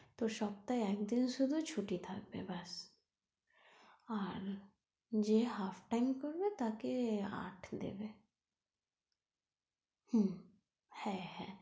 তো সপ্তাহে একদিন শুধু ছুটি থাকবে ব্যাস আর যে half time করবে তাকে আট দেবে হুম হ্যাঁ হ্যাঁ।